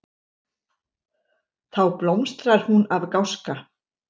Þá blómstrar hún af gáska.